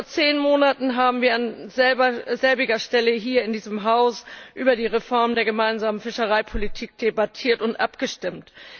Vor zehn Monaten haben wir an derselben Stelle hier in diesem Haus über die Reform der Gemeinsamen Fischereipolitik debattiert und abgestimmt.